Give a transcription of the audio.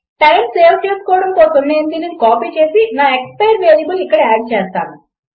time save చేసుకోవడం కోసం నేను దీనిని కాపీ చేసి నా ఎక్స్పైర్ వేరియబుల్ ఇక్కడ ఆడ్ చేస్తాను